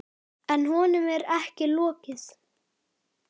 En honum er ekki lokið.